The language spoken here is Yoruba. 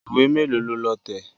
Ìwé mélòó lo lọ tẹ̀?